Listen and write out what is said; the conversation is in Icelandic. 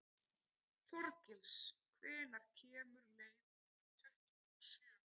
Þorgils, hvenær kemur leið númer tuttugu og sjö?